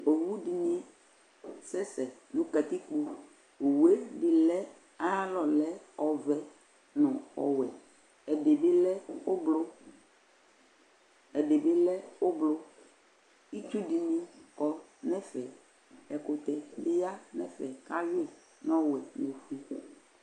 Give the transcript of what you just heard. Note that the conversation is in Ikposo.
Ʋwuɖini akɛsɛsɛ nʋ katikpo Owueɖini lɛ, ayalɔlɛ ɔvɛ nʋ ɔwuɛƐɖibi lɛ ɔblɔ ɛɖibi lɛ ɔblɔItsuɖini kɔ nɛfɛƐkʋtɛbi ya nɛfɛ k'ahuii n'ɔwuɛ